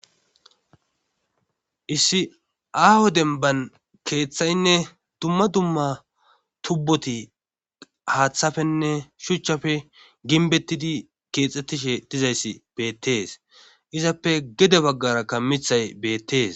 issi awo denban keeththaynne dumma dumma tubboti haaththafenne shuchchafe ginbettidi keexxettishe dizayssi beettees izappe gede baggara kammithay beettees